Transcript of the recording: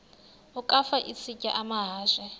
ukafa isitya amahashe